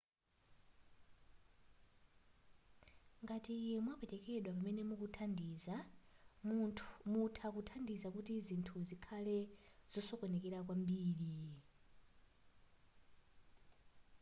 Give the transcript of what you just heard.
ngati mwapwetekedwa pamene mukuthandiza mutha kuthandiza kuti zinthu zikhale zosokonekera kwambiri